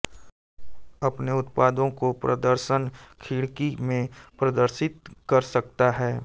अपने उत्पादों को प्रदर्शन खिड़की में प्रदर्शित कर सकता है